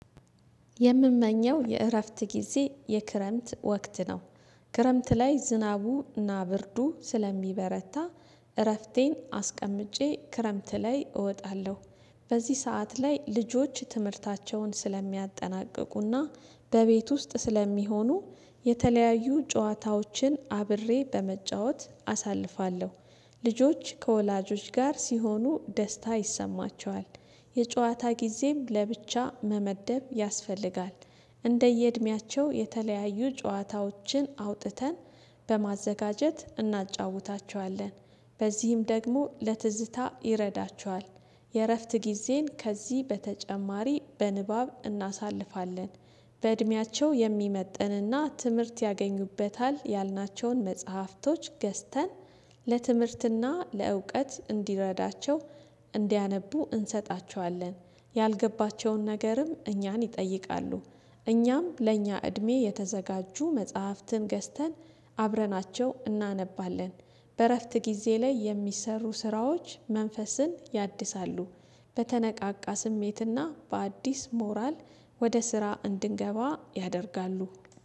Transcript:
የምመኘው የእረፍት ጊዜ የክረምት ወቅት ነው። ክረምት ላይ ዝናቡና ብርዱ ስለሚበረታ እረፍቴን አስቀምጬ ክረምት ላይ እወጣለሁ። በዚህ ሰዓት ላይ ልጆች ትምህርታቸውን ስለሚያጠናቅቁና በቤት ውስጥ ስለሚሆኑ የተለያዩ ጨዋታዎችን አብሬ በመጫወት አሳልፋለሁ። ልጆች ከወላጆች ጋር ሲሆኑ ደስታ ይሰማቸዋል። የጨዋታ ጊዜም ለብቻ መመደብ ያስፈልጋል። እንደየእድሜያቸው የተለያዩ ጨዋታዎችን አውጥተን በማዘጋጀት እናጫውታቸዋለን። በዚህም ደግሞ ለትዝታ ይረዳቸዋል። የእረፍት ጊዜን ከዚህ በተጨማሪ በንባብ እናሳልፋለን። በእድሜያቸው የሚመጥንና ትምህርት ያገኙበታል ያልናቸውን መጽሐፍቶች ገዝተን ለትምህርትና ለእውቀት እንዲረዳቸው እንዲያነቡ እንሰጣቸዋለን። ያልገባቸውን ነገርም እኛን ይጠይቃሉ። እኛም ለእኛ እድሜ የተዘጋጁ መጽሐፍትን ገዝተን አብረናቸው እናነባለን። በእረፍት ጊዜ ላይ የሚሰሩ ስራዎች መንፈስን ያድሳሉ። በተነቃቃ ስሜትና በአዲስ ሞራል ወደ ስራ እንድንገባ ያደርጋሉ